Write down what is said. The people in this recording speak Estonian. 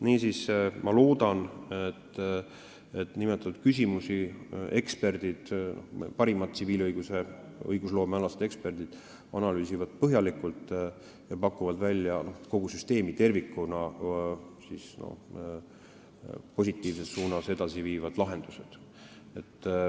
Niisiis, ma loodan, et nimetatud küsimusi eksperdid, parimad tsiviilõigusloome eksperdid analüüsivad põhjalikult ja pakuvad välja kogu süsteemi tervikuna positiivses suunas edasi viivad lahendused.